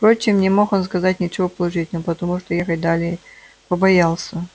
впрочем не мог он сказать ничего положительного потому что ехать далее побоялся